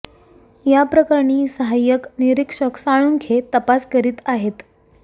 या प्रकरणी सहाय्यक निरीक्षक साळुंखे तपास करीत आहेत